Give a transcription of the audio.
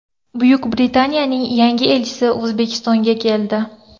Buyuk Britaniyaning yangi elchisi O‘zbekistonga keldi.